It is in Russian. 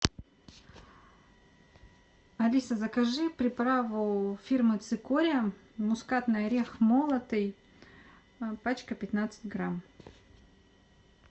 алиса закажи приправу фирмы цикория мускатный орех молотый пачка пятнадцать грамм